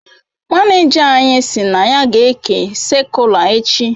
manija anyi si na ya ga eke sakula echi